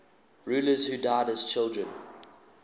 rulers who died as children